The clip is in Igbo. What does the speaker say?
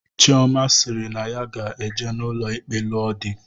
Chiọma sịrị na ya ga-eje n'ụlọ ikpe lụọ di.